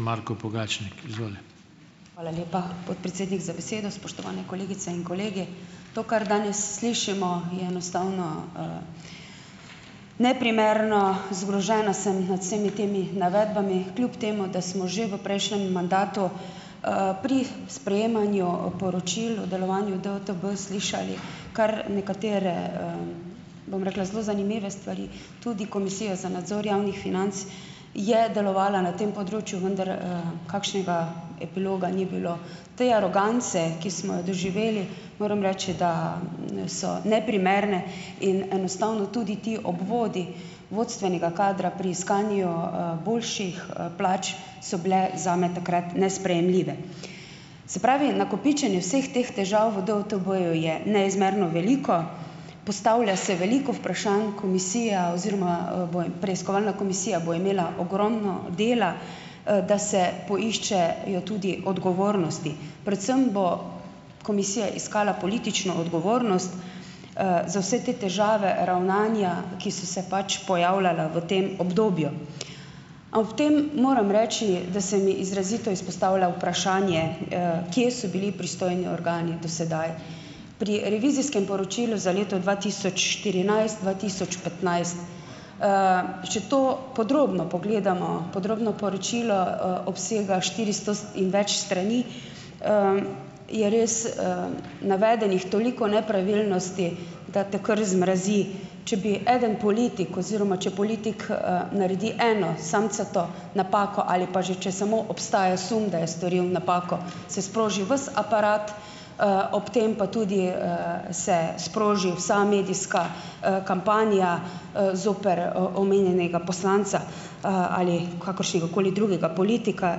Marko Pogačnik, izvoli. Hvala lepa, podpredsednik za besedo, spoštovane kolegice in kolegi, to, kar danes slišimo, je enostavno neprimerno, zgrožena sem nad vsemi temi navedbami, kljub temu da smo že v prejšnjem mandatu, pri sprejemanju poročil o delovanju DUTB slišali kar nekatere, bom rekel zelo zanimive stvari, tudi komisija za nadzor javnih financ je delovala na tem področju, vendar, kakšnega epiloga ni bilo. Te arogance, ki smo jo doživeli, moram reči, da so neprimerne, in enostavno tudi ti obvodi vodstvenega kadra pri iskanju, boljših plač so bile zame takrat nesprejemljive, se pravi, nakopičenje vseh teh težav v DUTB-ju je neizmerno veliko, postavlja se veliko vprašanj, komisija oziroma preiskovalna komisija bo imela ogromno dela, da se poiščejo tudi odgovornosti, predvsem bo komisija iskala politično odgovornost, za vse te težave, ravnanja, ki so se pač pojavljali v tem obdobju, a v tem moram reči, da se mi izrazito izpostavlja vprašanje, kje so bili pristojni organi do sedaj. Pri revizijskem poročilu za leto dva tisoč štirinajst-dva tisoč petnajst, če to podrobno pogledamo, podrobno poročilo obsega štiristo in več strani, je res, navedenih toliko nepravilnosti, da te kar zmrazi, če bi eden politik oziroma če politik, naredi eno samcato napako ali pa že če samo obstaja sum, da je storil napako, se sproži vas aparat, ob tem pa tudi, se sproži vsa medijska, kampanja, zoper omenjenega poslanca, ali kakeršnega koli drugega politika,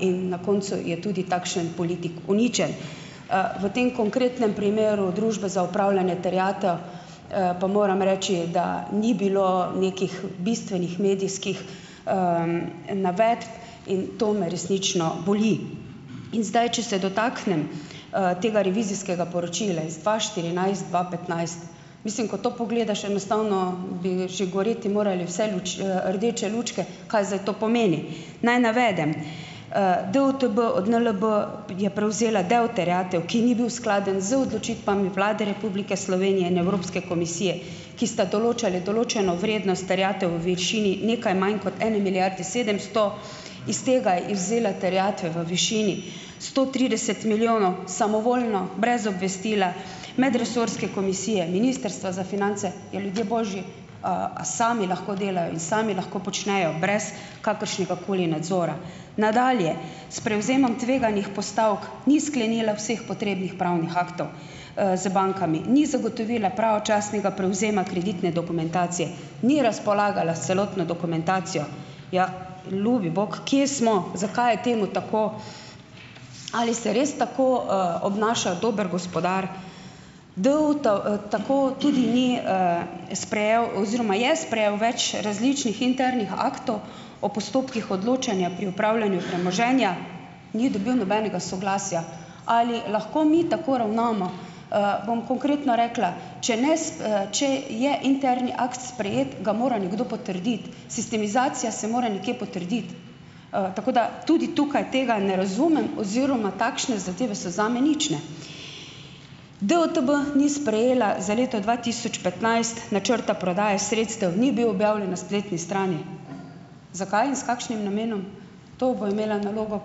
in na koncu je tudi takšen politik uničen, v tem konkretnem primeru Družbe za upravljanje terjatev, pa moram reči da, ni bilo nekih bistvenih medijskih, navedb, in to me resnično boli, in zdaj če se dotaknem, tega revizijskega poročile iz dva štirinajst-dva petnajst, mislim, ko to pogledaš, enostavno bi že goreti morale vse rdeče lučke. Kaj zdaj to pomeni? Naj navedem, DUTB od NLB je prevzela del terjatev, ki ni bil skladen z odločitvami Vlade Republike Slovenije in Evropske komisije, ki sta določali določeno vrednost terjatev v višini nekaj manj kot ene milijarde sedemsto, iz tega izvzela terjatve v višini sto trideset milijonov samovoljno, brez obvestila medresorske komisije ministrstva za finance. Ja, ljudje božji, a sami lahko delajo in samo lahko počnejo brez kakršnega koli nadzora? Nadalje, s prevzemom tveganih postavk ni sprejela vseh potrebnih pravnih aktov, z bankami ni zagotovila pravočasnega prevzema kreditne dokumentacije, ni razpolagala s celotno dokumentacijo. Ja, ljubi bog, kje smo, zakaj je temu tako, ali ste res tako, obnaša dober gospodar? tako tudi ni, sprejel oziroma je sprejel več različnih internih aktov o postopkih odločanja, pri upravljanju premoženja ni dobil nobenega soglasja. Ali lahko mi tako ravnamo, bom konkretno rekla, če če je interni akt sprejet, ga mora nekdo potrditi, sistemizacija se mora nekje potrditi, tako da tudi tukaj tega ne razumem oziroma takšne zadeve so zame nične. DUTB ni sprejela za leto dva tisoč petnajst načrta prodaje sredstev, ni bil objavljen na spletni strani, zakaj in s kakšnim namenom? To bo imela nalogo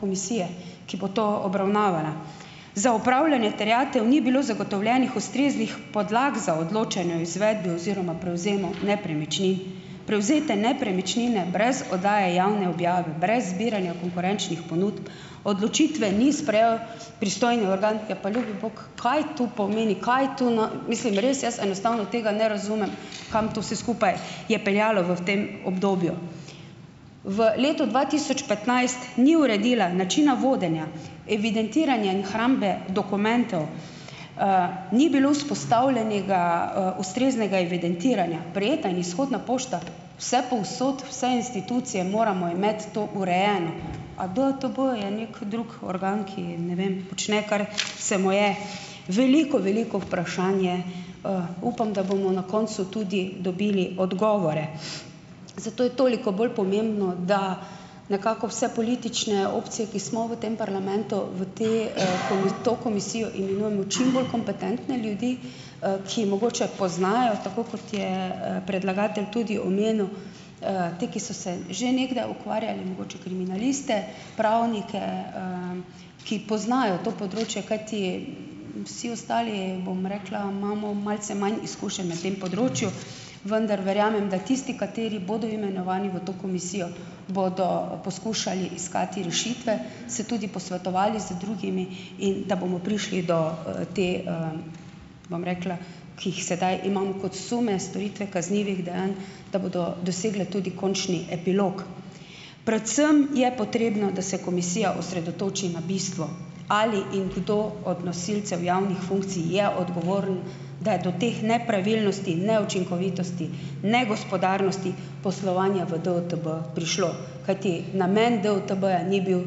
komisija, ki bo to obravnavala. Za upravljanje terjatev ni bilo zagotovljenih ustreznih podlag za odločanje v izvedbi oziroma prevzemu nepremičnin, prevzete nepremičnine brez oddaje javne objave, brez zbiranja konkurenčnih ponudb, odločitev ni sprejel pristojni organ, ja, pa ljubi bog, kaj to pomeni, kaj tu mislim, res jaz enostavno tega ne razumem, kam to vse skupaj je peljalo v tem obdobju, v letu dva tisoč petnajst ni uredila načina vodenja evidentiranja in hrambe dokumentov, ni bilo vzpostavljenega, ustreznega evidentiranja prejeta in izhodna pošta, vsepovsod vse institucije moramo imeti to urejeno, a DUTB je neki drug organ, ki ne vem, počne, kar se mu je. Veliko, veliko vprašanje, upam, da bomo na koncu tudi dobili odgovore, zato je toliko bolj pomembno, da nekako vse politične opcije, ki smo v tem parlamentu, v te, to komisijo imenujemo čim bolj kompetentne ljudi, ki mogoče poznajo tako, kot je predlagatelj tudi omenil, te, ki so se že nekdaj ukvarjali, mogoče kriminaliste, pravnike, ki poznajo to področje, kajti vsi ostali, bom rekla, imamo malce manj izkušenj na tem področju, vendar verjamem, da tisti, kateri bodo imenovani v to komisijo, bodo poskušali iskati rešitve, se tudi posvetovali z drugimi, in da bomo prišli do, te, bom rekla, ki jih sedaj imam kot sume storitve kaznivih dejanj, da bodo dosegle tudi končni epilog, predvsem je potrebno, da se komisija osredotoči na bistvo, ali in kdo od nosilcev javnih funkcij je odgovoren, da je to teh nepravilnosti, neučinkovitosti negospodarnosti poslovanja v DUTB prišlo, kajti namen DUTB-ja ni bil,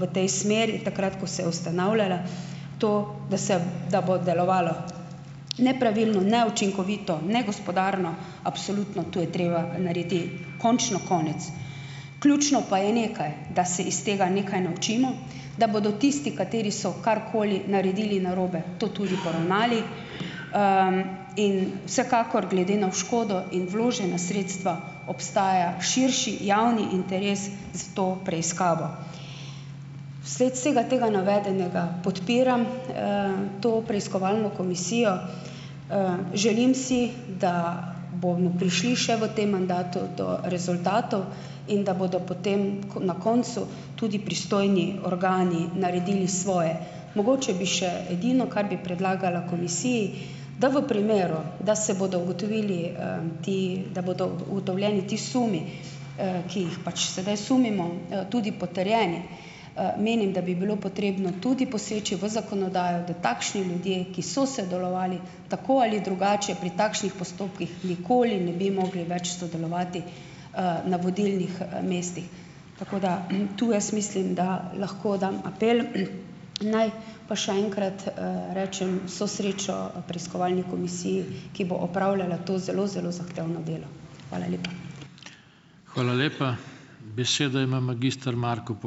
v tej smeri takrat, ko se je ustanavljala, to, da se, da bo delovalo nepravilno, neučinkovito, negospodarno, absolutno to je treba narediti končno konec, ključno pa je nekaj, da se iz tega nekaj naučimo, da bodo tisti, kateri so karkoli naredili narobe, to tudi poravnali, in vsekakor gleda na škodo in vložena sredstva, obstaja širši javni interes za to preiskavo, vsled vsega tega navedenega podpiram, to preiskovalno komisijo, želim si, da bomo prišli še v tem mandatu do rezultatov in da bodo potem na koncu tudi pristojni organi naredili svoje. Mogoče bi še edino, kar bi predlagala komisiji, da v primeru, da se bodo ugotovili, ti da bodo ugotovljeni ti sumi, ki jih pač sedaj sumimo, tudi potrjeni, menim, da bi bilo potrebno tudi poseči v zakonodajo, da takšni ljudje, ki so sodelovali tako ali drugače pri takšnih postopkih, nikoli ne bi mogli več sodelovati, na vodilnih, mestih, tako da, tu jaz mislim, dam apel, naj pa še enkrat, rečem vso srečo preiskovalni komisiji, ki bo opravljala to zelo zelo zahtevno delo, hvala lepa. Hvala lepa, besedo ima magister Marko ...